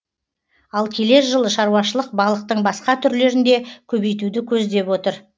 ал келер жылы шаруашылық балықтың басқа түрлерін де көбейтуді көздеп отыр